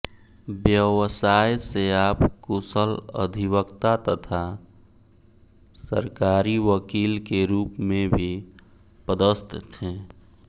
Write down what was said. व्यवसाय से आप कुशल अधिवक्ता तथा सरकारी वकील के रूप में भी पदस्थ थे